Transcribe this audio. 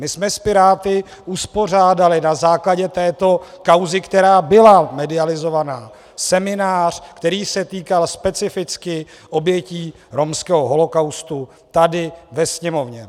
My jsme s Piráty uspořádali na základě této kauzy, která byla medializovaná, seminář, který se týkal specificky obětí romského holokaustu, tady ve Sněmovně.